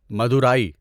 Madurai